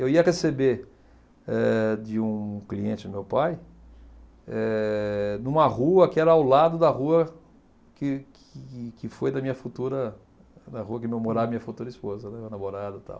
Eu ia receber eh de um cliente do meu pai, eh numa rua que era ao lado da rua que que que foi da minha futura, na rua que morava a minha futura esposa, né, a namorada e tal.